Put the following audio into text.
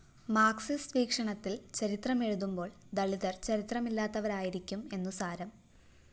Marxist വീക്ഷണത്തില്‍ ചരിത്രമെഴുതുമ്പോള്‍ ദളിതര്‍ ചരിത്രമില്ലാത്തവരായിരിക്കും എന്നുസാരം